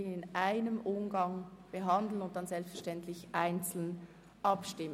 Selbstverständlich werden wir dann einzeln über diese Kapitel abstimmen.